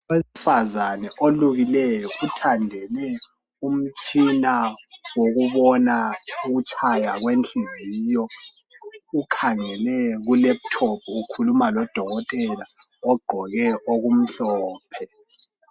Owesifazane olukileyo uthandele umtshina wokubona ukutshaya kwenhliziyo ukhangele kulephuthophu, ukhuluma lodokotela ogqoke okumhlophe.